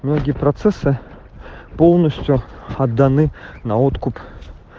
многие процессы полностью отданы на откуп